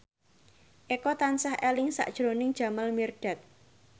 Eko tansah eling sakjroning Jamal Mirdad